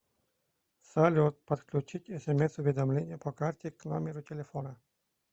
салют подключить смс уведомления по карте к номеру телефона